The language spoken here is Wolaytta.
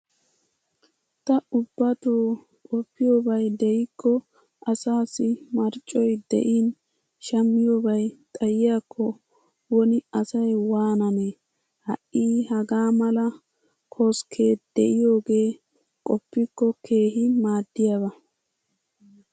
Ta ubbatoo qoppiyobay de'ikko asaassi marccoy de'in shammiyobay xayiyakko woni asay waananee! Ha"i hagaa mala koskkee de'iyogee qoppikko keehi maaddiyaba.